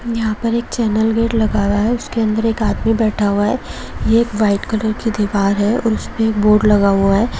यहां पे एक चैनल गेट लगा हुआ है उसके अन्दर एक आदमी बैठा हुआ है ये एक व्हाइट कॉलर की दीवार है और उसमें एक बोर्ड लगा हुआ है।